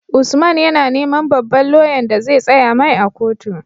Usman yAna neman babban loyan da zai tsaya mai a kotu